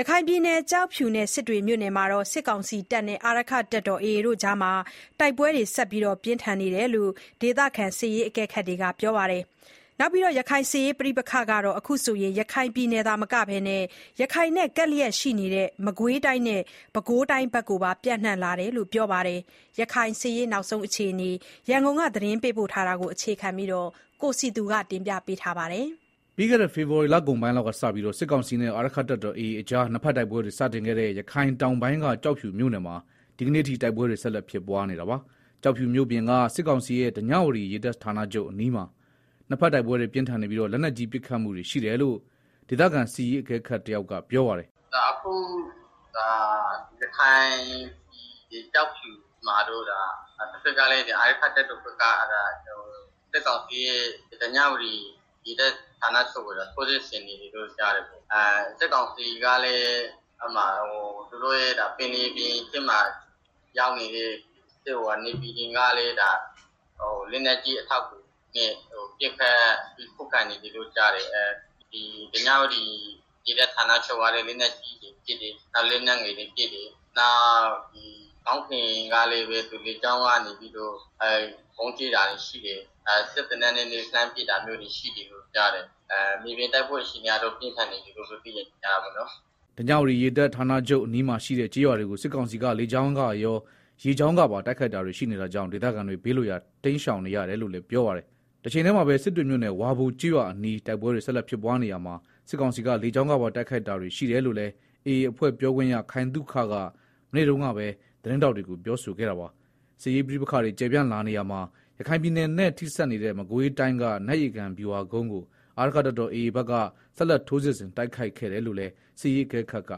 ရခိုင်ပြည်နယ် ကျောက်ဖြူနဲ့ စစ်တွေမြို့နယ်တွေမှာ စစ်ကောင်စီနဲ့ အာရက္ခတပ်တော် AA ကြား တိုက်ပွဲတွေ ဆက်လက်ပြင်းထန်နေတယ်လို့ ဒေသခံအကဲခတ်တွေက ပြောပါတယ်။ စစ်ရေး ပဋိပက္ခတွေဟာ ရခိုင်ပြည်နယ်နဲ့ ကပ်လျက်ရှိနေတဲ့ မကွေးတိုင်း၊ ပဲခူးတိုင်းတို့ကိုပါ ပျံ့နှံ့လာနေတယ် လို့လည်း ပြောပါတယ်။ ရခိုင်ပြည်နယ် စစ်ရေးနောက်ဆုံးအခြေအနေတွေ ရန်ကုန်က သတင်းပေးပို့ ထားတာကို တင်ပြထားပါတယ်။ ပြီးခဲ့တဲ့ ဖေဖော်ဝါရီလကုန်ပိုင်းလောက်ကစပြီး စစ်ကောင်စီနဲ့ အာရက္ခတပ်တော် AA ကြား နှစ်ဘက် တိုက်ပွဲတွေစတင်ခဲ့တဲ့ ရခိုင်တောင်ပိုင်းက ကျောက်ဖြူမြို့နယ်မှာ ဒီကနေ့အထိ တိုက်ပွဲတွေ ဆက် ဖြစ်နေပါတယ်။ ကျောက်ဖြူမြို့ပြင်က စစ်ကောင်စီရဲ့ ဓညဝတီရေတပ်ဌာနချုပ်အနီးမှာ နှစ်ဘက်တိုက်ပွဲတွေ ပြင်းထန်နေပြီး လက်နက်ကြီးပစ်ခတ်မှုတွေလည်း ရှိနေတယ်လို့ ဒေသခံ စစ်ရေးအကဲခတ် တယောက်က ပြောပါတယ်။ “ကျောက်ဖြူမှာတော့ အာရက္ခတပ်တော် AA ဘက်က စစ်ကောင်စီရဲ့ဓညဝတီရေတပ်စခန်းကို ဆက်လက် ထိုးစစ်ဆင်နေတယ်။ စစ်ကောင်စီဘက်ကလည်း ပင်လယ်ပြင်မှာ ရပ်ထားတဲ့ နေဗီတွေက လက်နက်ကြီးပစ်ကူတွေပေးတယ်။ ဓညဝတီရေတပ်ဌာနချုပ်ကလည်း လက်နက်ကြီးတွေ လက်နက် ငယ်တွေ ပစ်တယ်။ နောက်လေကြောင်းကလည်း ဗုံးကြဲတာတွေရှိတယ်။ စက်သေနတ်တွေနဲ့ ပစ်တယ်။ မြေပြင်တိုက်ပွဲအခြေအနေကတော့ ပြင်းထန်နေတယ်လို့ သိရတာပေါ့နော်။” ဓညဝတီရေတပ်ဌာနချုပ်နားကကျေးရွာတွေကို စစ်ကောင်စီက လေကြောင်းကရော၊ ရေကြောင်းကပါ တိုက်ခိုက်နေတာကြောင့် ဒေသခံတွေ ဘေးလွတ်ရာတိမ်းရှောင်နေရတယ်လို့လည်း ပြောပါတယ်။ တချိန်တည်းမှာပဲ စစ်တွေမြို့နယ်၊ ဝါဘိုကျေးရွာအနီး တိုက်ပွဲတွေ ဆက်လက်ဖြစ်ပွားနေရာမှာ စစ်ကောင်စီက လေကြောင်းကပါ တိုက်ခိုက်ခဲ့တယ်လို့လည်း AA အဖွဲ့ ပြောခွင့်ရ ခိုင်သုခက မနေ့တုန်းကပဲ သတင်းထောက်တွေကို ပြောဆိုခဲ့တာပါ။ စစ်ရေးပဋိပက္ခတွေ ကျယ်ပြန့်လာနေရာမှာ ရခိုင်ပြည်နယ်နဲ့ ထိစပ်နေတဲ့ မကွေးတိုင်းက နတ်ရေကန် ဗျူဟာကုန်းကို အာရက္ခတပ်တော် AA ဘက်က ဆက်လက် ထိုးစစ်ဆင်တိုက်ခိုက်ခဲ့တယ်လို့လည်း စစ်ရေးအကဲခတ်က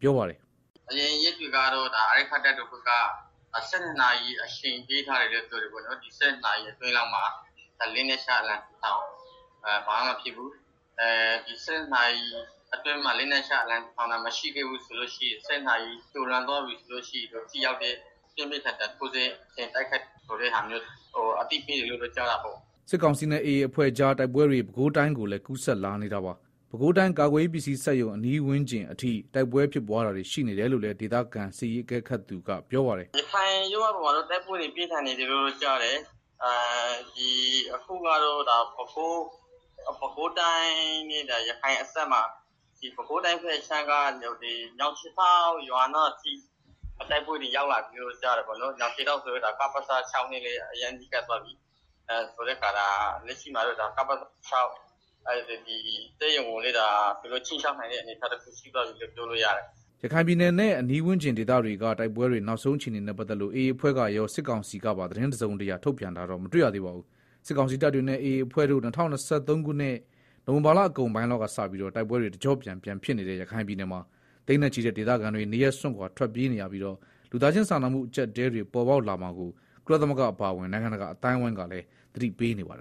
ပြောပါတယ်။ “အရင်ရက်တွေကတော့ အာရက္ခတပ်တော်ဘက်က နာရီအချိန်ပေးထားတယ်လို့ ပြောတယ်ပေါ့ နော်၊ နာရီအတွင်းမှာ လက်နက်ချ အလံဖြူထောင်ရင် ဘာမှမဖြစ်ဘူး။ နာရီကျော်သွားရင် တော့ ပြင်းပြင်းထန်ထန်ထိုးစစ်ဆင်တိုက်ခိုက်မယ်လို့ အသိပေးထားတယ်လို့တော့ ကြားတာပေါ့။” စစ်ကောင်စီနဲ့ AA အဖွဲ့ကြား တိုက်ပွဲတွေ ပဲခူးတိုင်းကိုလည်း ကူးစက်လာနေတာပါ။ ပဲခူးတိုင်း ကာကွယ်ရေးပစ္စည်းစက်ရုံဝန်းကျင်နားအထိ တိုက်ပွဲဖြစ်ပွားတာတွေ ရှိနေတယ်လို့လည်း ဒေသခံစစ်ရေးအကဲခတ်သူက ပြောပါတယ်။ “ရခိုင်ရိုးမပေါ်မှာလည်း တိုက်ပွဲတွေ ဆက်လက်ပြင်းထန်နေတယ်။ အခုကတော့ ပဲခူးတိုင်းနဲ့ ရခိုင်အစပ် က ညောင်ခြေထောက်ရွာနားအထိ တိုက်ပွဲတွေ ရောက်လာပြီလို့ ပြောလို့ရတာပေါ့နော်။ ညောင်ခြေ ထောက်က ကပစ နဲ့လည်း အရမ်းနီးကပ်သွားပြီဆိုတော့ လက်ရှိမှာတော့ ကပစ လက်နက် စက်ရုံကိုလည်း သူတို့ ခြိမ်းခြောက်နိုင်တဲ့ အနေအထားတခုရှိသွားပြီလို့ ပြောလို့ရတယ်။” ရခိုင်ပြည်နယ်နဲ့ အနီးဝန်းကျင်ဒေသတွေက တိုက်ပွဲတွေ နောက်ဆုံး အခြေအနေနဲ့ ပတ်သက်လို့ AA အဖွဲ့ကရော စစ်ကောင်စီကပါ သတင်းတစုံတရာ ထုတ်ပြန်တာတော့ မတွေ့ရသေးပါဘူး။ စစ်ကောင်စီ တပ်တွေနဲ့ AA အဖွဲ့တို့ ၂၀၂၃ ခုနှစ် နိုဝင်ဘာလအကုန်ပိုင်း လောက်ကစပြီး တိုက်ပွဲတွေ တကျော့ပြန်ဖြစ် နေတဲ့ ရခိုင်ပြည်နယ်မှာ သိန်းနဲ့ချီတဲ့ဒေသခံတွေ နေရပ်စွန့်ခွာထွက်ပြေးနေရပြီး လူသားချင်း စာနာမှု အကျပ်အတည်းတွေ ပေါ်ပေါက်လာမှာကို ကုလသမဂ္ဂအပါအဝင် နိုင်ငံတကာ အသိုင်းအဝိုင်းကလည်း သတိပေးနေပါတယ်